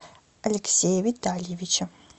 алексея витальевича